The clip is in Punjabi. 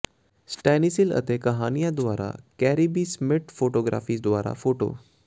ਸਟੈਨੀਸਿਲ ਅਤੇ ਕਹਾਣੀਆਂ ਦੁਆਰਾ ਕੇਰੀ ਬੀ ਸਮਿਟ ਫੋਟੋਗ੍ਰਾਫੀ ਦੁਆਰਾ ਫੋਟੋ